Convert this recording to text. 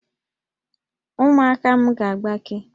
Ụmụaka m ga-agbake